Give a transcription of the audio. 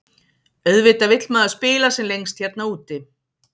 Auðvitað vill maður spila sem lengst hérna úti.